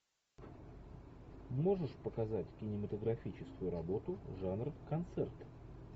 можешь показать кинематографическую работу жанр концерт